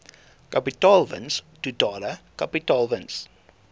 kapitaalwins totale kapitaalwins